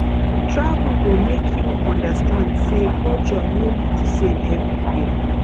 travel go make you understand say culture no be the same everywhere